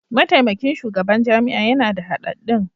Mataimakin shugaban jami'a yana da hadaddun.